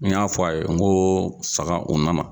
N y'a fɔ a ye n ko saga u nana.